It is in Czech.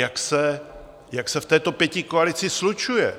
Jak se to v této pětikoalici slučuje,